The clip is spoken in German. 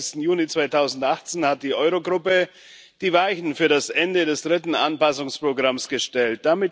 22. Juni 2018 hat die Euro Gruppe die Weichen für das Ende des dritten Anpassungsprogramms gestellt.